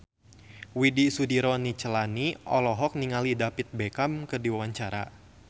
Widy Soediro Nichlany olohok ningali David Beckham keur diwawancara